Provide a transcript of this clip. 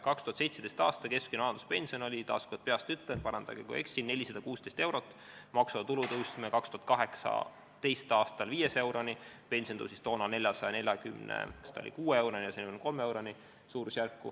2017. aastal oli keskmine vanaduspension – taas kord peast ütlen, parandage, kui eksin – 416 eurot, maksuvaba tulu tõstsime 2018. aastal 500 euroni, pension tõusis toona, mis ta oligi, 446 euroni.